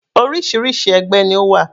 Orísirísi ẹgbẹ́ ni ó wà.